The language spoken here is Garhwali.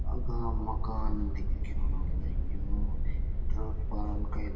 अघां मकान दिखेणु लग्युं ट्रक पर अन केल --